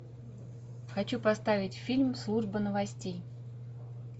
хочу поставить фильм служба новостей